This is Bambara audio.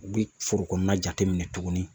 U bɛ foro kɔnɔna jateminɛ tuguni